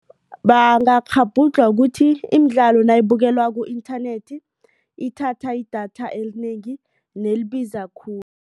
Bangakghabhudlhwa kukuthi imidlalo nayibukelwa ku-inthanethi ithatha idatha elinengi nelibiza khulu.